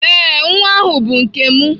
Ee, nwa ahụ bụ nke m